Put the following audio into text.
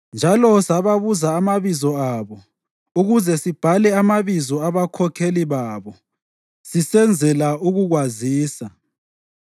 Njalo sababuza amabizo abo ukuze sibhale amabizo abakhokheli babo sisenzela ukukwazisa.